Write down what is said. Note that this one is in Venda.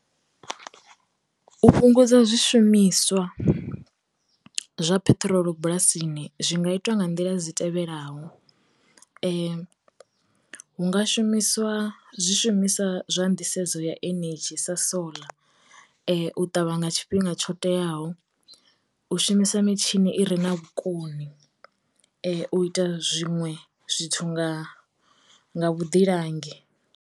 U fhungudza zwi shumiswa zwa peṱirolo bulasini zwi nga itiwa nga nḓila dzi tevhelaho, hu nga shumisiwa zwi shumiswa zwa ndisedzo ya enedzhi sa soḽa, u ṱavha nga tshifhinga tsho teaho, u shumisa mitshini i re na vhukoni, u ita zwinwe zwithu nga vhuḓilangi.